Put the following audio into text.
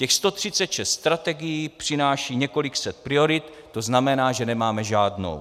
Těch 136 strategií přináší několik set priorit, to znamená, že nemáme žádnou.